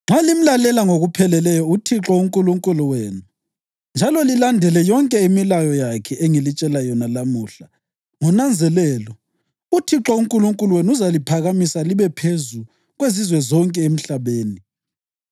“Nxa limlalela ngokupheleleyo uThixo uNkulunkulu wenu njalo lilandele yonke imilayo yakhe engilitshela yona lamuhla ngonanzelelo, uThixo uNkulunkulu wenu uzaliphakamisa libe phezu kwezizwe zonke emhlabeni.